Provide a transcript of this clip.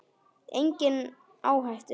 Enginn á hættu.